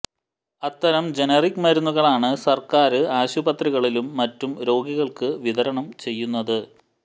അത്തരം ജനറിക് മരുന്നുകളാണ് സര്ക്കാര് ആശുപത്രികളിലും മറ്റും രോഗികള്ക്ക് വിതരണം ചെയ്യുന്നത്